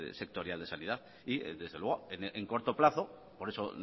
sectorial de sanidad y desde luego en corto plazo por eso